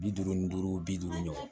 Bi duuru ni duuru bi duuru ɲɔgɔn